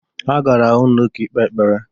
Ha gara n'ụlọ ụka ikpe ekpere.